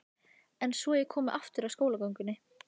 En svo ég komi aftur að skólagöngunni.